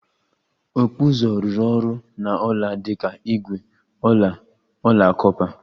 Okpu uzu rụrụ ọrụ na ọla dị ka ígwè, ọla, ọla kọpa